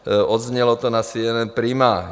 Zaznělo to na CNN Prima.